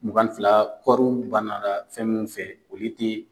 Mugan ni fila ,kɔriw ba nara fɛn min feere olu te